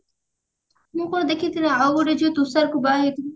ମୁଁ କଣ ଦେଖିଥିଲି ଆଉ ଗୋଟେ ଝିଅ ତୁଷାରକୁ ବାହା ହେଇଛି